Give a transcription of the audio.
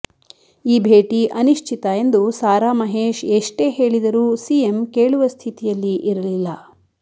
ಈ ಭೇಟಿ ಅನಿಶ್ಚಿತ ಎಂದು ಸಾರಾ ಮಹೇಶ್ ಎಷ್ಟೇ ಹೇಳಿದರೂ ಸಿಎಂ ಕೇಳುವ ಸ್ಥಿತಿಯಲ್ಲಿ ಇರಲಿಲ್ಲ